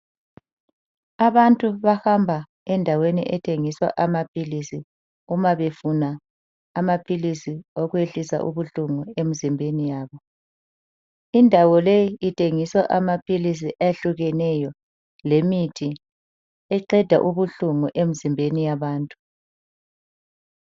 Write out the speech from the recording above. Abantu bahamba endaweni ethengiswa amaphilisi uma befuna amaphilisi okwehlisa ubuhlungu emzimbeni yabo. Indawo leyi ithengiswa amaphilisi ehlukeneyo lemithi eqeda ubuhlungu emizimbeni yabantu.